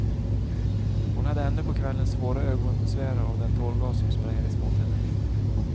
Hon hade ännu på kvällen svåra ögonbesvär av den tårgas som sprejades mot henne.